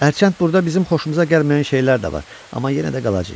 Əlbəttə burda bizim xoşumuza gəlməyən şeylər də var, amma yenə də qalacağıq.